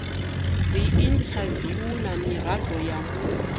dziinthaviwu na mirado ya muta